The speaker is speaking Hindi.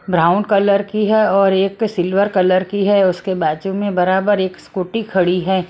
ब्राउन कलर की है और एक सिल्वर कलर की है उसके बाजू में बराबर एक स्कूटी खड़ी है।